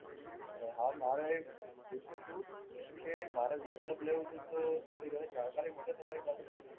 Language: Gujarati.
અરે હા મારે એ પૂછ્યું તું કે મારે લેપટોપ લેવું તું તો થોડી ઘણી જાણકારી મળશે તમારી પાસેથી?